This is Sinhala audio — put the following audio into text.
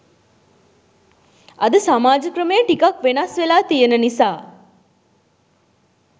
අද සමාජ ක්‍රමය ටිකක් වෙනස් වෙලා තියෙන නිසා